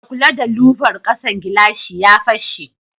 Ka kula da louver kasan gilashi ya fashe.